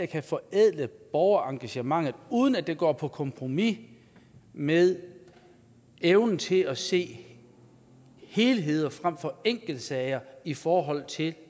kan forædle borgerengagementet uden at gå på kompromis med evnen til at se helheder frem for enkeltsager i forhold til